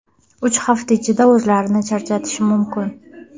uch hafta ichida o‘zlarini charchatishi mumkin.